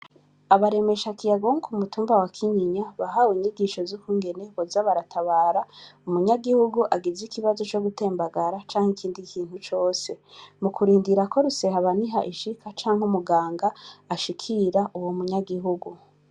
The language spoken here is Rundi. Abaremeshakiyago bo ku mutumba wa Kinyinya bahawe inyigisho z'ukungene boza baratabara umunyagihugu agize ikibazo co gutembagara canke ikindi kintu cose, mu kurindira ko rusehabaniha ishika canke umuganga ashikira uwo munyagihugu.